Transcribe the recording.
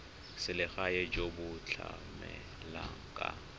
selegae jo bo tlamelang ka